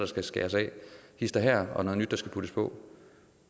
skal skæres af hist og her og noget nyt der skal puttes på